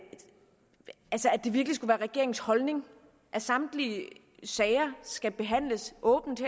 det virkelig skulle være regeringens holdning at samtlige sager skal behandles åbent